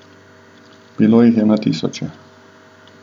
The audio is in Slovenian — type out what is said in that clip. Bilo jih je na tisoče.